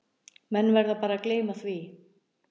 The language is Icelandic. Menn verða bara að gleyma því